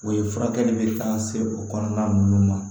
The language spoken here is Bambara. O ye furakɛli be ka se o kɔnɔna nunnu ma